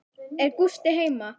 Er Gústi heima?